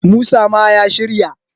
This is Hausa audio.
musa ma ya shirya!